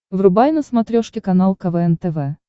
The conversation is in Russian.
врубай на смотрешке канал квн тв